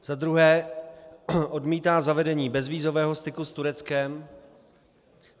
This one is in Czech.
za druhé odmítá zavedení bezvízového styku s Tureckem;